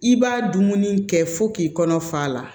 I b'a dumuni kɛ fo k'i kɔnɔ fa la